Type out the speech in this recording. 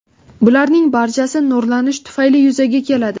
Bularning barchasi nurlanish tufayli yuzaga keladi.